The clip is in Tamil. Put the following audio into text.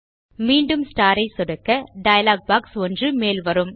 மீண்டும் ஸ்டார் ஐ சொடுக்க டயலாக் பாக்ஸ் ஒன்று மேல் வரும்